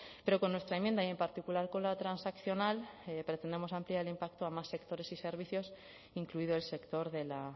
pero con nuestra enmienda y en particular con la transaccional pretendemos ampliar el impacto a más sectores y servicios incluido el sector de la